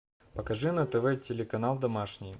покажи на тв телеканал домашний